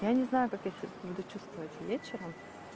я не знаю как я себя буду чувствовать вечером